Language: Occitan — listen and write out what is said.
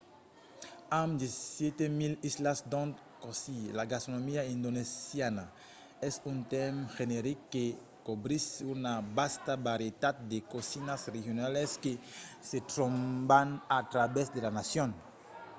amb 17 000 islas d’ont causir la gastronomia indonesiana es un tèrme generic que cobrís una vasta varietat de cosinas regionalas que se tròban a travèrs de la nacion